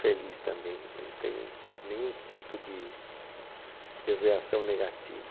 Feliz também, não tem nenhum tipo de reação negativa